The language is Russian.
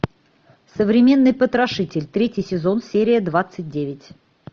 современный потрошитель третий сезон серия двадцать девять